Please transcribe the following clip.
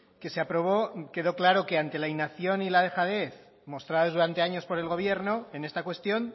que se aprobó quedó claro que ante la inacción y la dejadez mostrados durante años por el gobierno en esta cuestión